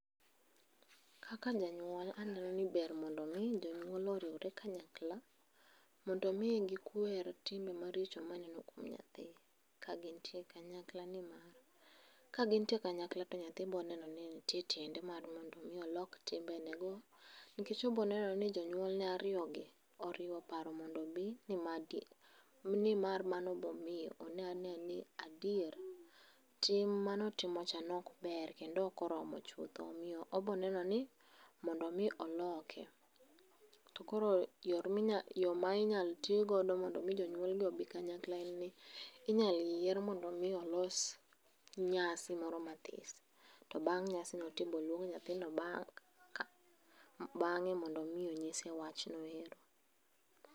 Kaka janyuol, aneno ni ber mondo mii jonyuol oriwre kanyakla mondo mii gikwer timbe maricho maneno kuom nyathi, kagintie kanyakla nimar, kagintie kanyakla to nyathi boneno ni nitie tiende mar mondo mi olok timbenego nikech oboneno ni jonyuolne ariyogi oriwo paro mondo obi nimar mano bomiyo oneanea ni adier tim manotimo cha nok ber kendo ok oromo chutho omiyo oboneno ni, mondo mi oloke. To koro yor yo minyal tigo mondo mi jonyuolgi obi kanyakla en ni, inyal yier mondo mi olos nyasi moro mathis. To bang' nyasino ti boluong nyathino bang' ka, bang'e mondo omi onyise wachno ero